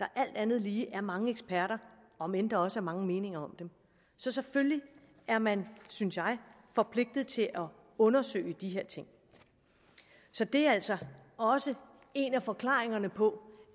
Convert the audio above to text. der alt andet lige foreslås af mange eksperter om end der også er mange meninger om dem så selvfølgelig er man synes jeg forpligtet til at undersøge de her ting så det er altså også en af forklaringerne på